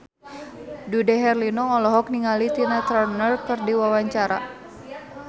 Dude Herlino olohok ningali Tina Turner keur diwawancara